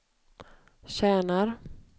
tjänar